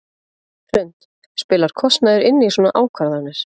Hrund: Spilar kostnaður inn í svona ákvarðanir?